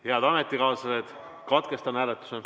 Head ametikaaslased, katkestan hääletuse.